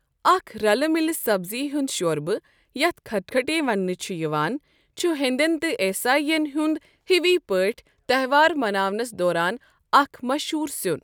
اکھ رَلہٕ مِلہٕ سبزی ہنٛد شۄربہٕ، یَتھ کھٹکھٹے ونٛنہٕ چھ یوان، چھ ہینٛدٮ۪ن تہٕ عیٖسٲیِن ہنٛد ہِوی پٲٹھۍ تہوار مناونس دوران اَکھ مشہوٗر سیُن۔